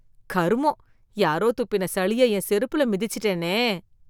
கருமம், யாரோ துப்பின சளிய என் செருப்புல மிதிச்சுட்டனே.